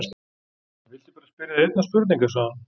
Ég vildi bara spyrja þig einnar spurningar, sagði hún.